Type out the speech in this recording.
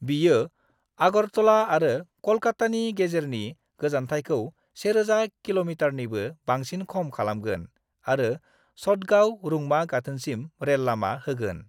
बियो आगरतला आरो क'लकातानि गेजेरनि गोजानथाइखौ 1000 किमीनिबो बांसिन खम खालामगोन आरो चटगांव रुंमा गाथोनसिम रेल लामा होगोन।